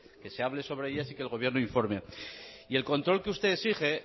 que se hable sobre ellas y el gobierno informe y el control que usted exige